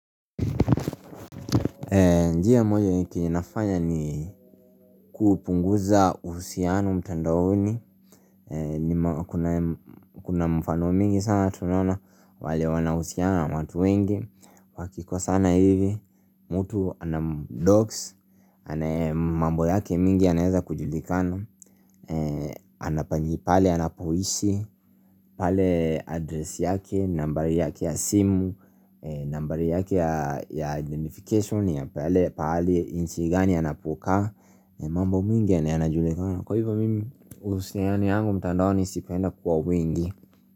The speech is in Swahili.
Njia moja ni kinafanya ni kupunguza uhusiano mtandaoni Kuna mfano mingi sana tunaona wale wanaohusiana watu wengi Wakikosana hivi, mutu anadoksi, anaye mambo yake mingi yanaeza kujulikana Anapanji pale, anapoishi, pale adresi yake, nambari yake ya simu nambari yake ya identification ya pale pahali nchi anapokaa mambo mwingi anajulekana Kwa hivyo mimi usineani yangu mtandao nisipenda kwa mwingi.